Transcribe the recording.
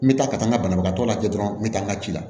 N bɛ taa ka taa n ka banabagatɔ lajɛ dɔrɔn n bɛ taa n ka ci la